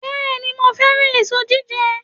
Bẹ́ẹ̀ni, mo fẹ́ràn èso jíjẹ